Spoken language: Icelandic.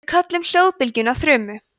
við köllum hljóðbylgjuna þrumu